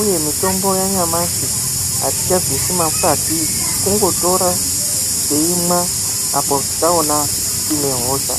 uye mutombo yanyamashi atichabvisi makwati kungotora teimwa apo taona tine hosha.